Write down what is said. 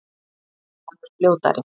Hann er fljótari.